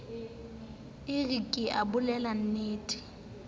e re ke o bolellennete